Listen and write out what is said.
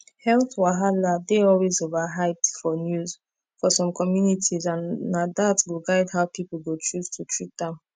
health wahala dey always overhyped for news for some communities and na that go guide how people go choose to treat am